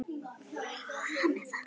Loks segir hann